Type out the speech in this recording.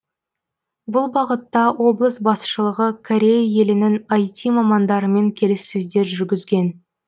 бұл бағытта облыс басшылығы корея елінің іт мамандарымен келіссөздер жүргізген